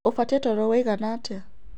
Ubatĩe toro woĩgana atĩa?